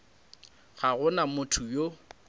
ga go na motho yo